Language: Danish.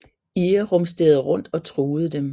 EAR rumsterede rundt og truede dem